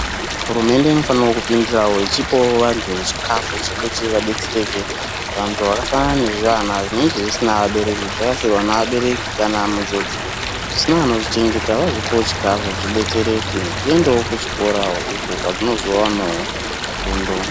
Hurumende inofana kupindirawo ichipawo vantu chikafu chekuti vabetsereke. Vantu vakafanana nezvivana zvinenge zvisina vabereki zvakafirwa nevabereki kana munjodzi zvisina anozvichengeta vozvipawo chikafu zvibetsereke zviendewo kuchikora uko kwazvinozowanawo fundo.